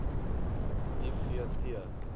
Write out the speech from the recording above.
i v t